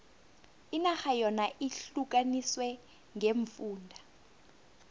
inarha yona ihlukaniswe ngeemfunda